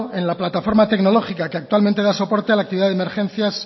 en la plataforma tecnológica que actualmente da soporte a la actividad de emergencias